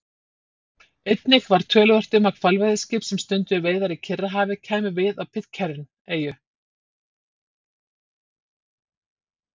Einnig var töluvert um að hvalveiðiskip sem stunduðu veiðar í Kyrrahafi kæmu við á Pitcairn-eyju.